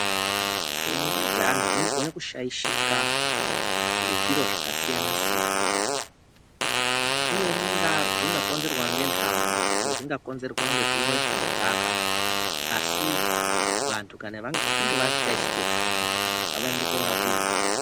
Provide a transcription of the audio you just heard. Pfungwa dzeantu dzinogone kushaishika ngezviro zvakasiyana-siyana. Zvimweni zvingakonzerwa ngenhamo, zvimweni zvingakonzerwe ngekumwe zvinodhaka, asi kana vantu vachinge vashaishike pfungwa ngavaende korapiwa.